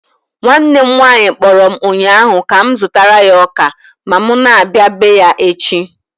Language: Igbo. Nwanne m nwanyị kpọrọ m ụnyaahụ ka m zụtara ya ọka ma m na-abia bee ya echi.